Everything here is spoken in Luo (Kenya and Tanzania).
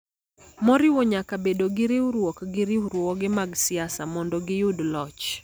moriwo nyaka bedo gi riwruok gi riwruoge mag siasa, mondo giyud loch.